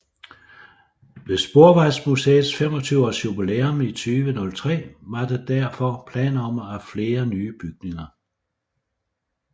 Ved Sporvejsmuseets 25 års jubilæum i 2003 var der derfor planer om flere nye bygninger